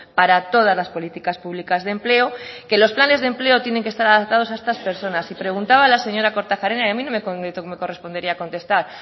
para todas las políticas públicas de empleo que los planes de empleo tienen que estar adaptados a estas personas y preguntaba la señora kortajarena y a mí no me correspondería contestar